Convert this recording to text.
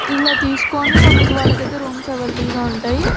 ఇలా తీసుకొని మనకు వాళ్ళకైతే రూమ్స్ అవైలబుల్ గా ఉంటాయి.